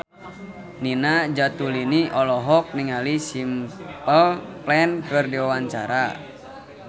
Nina Zatulini olohok ningali Simple Plan keur diwawancara